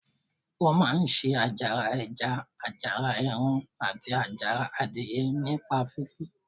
Wọ́n máa ń se àjàrà ẹja, àjàrà ẹran, àti àjàrà adìyẹ nípa fífi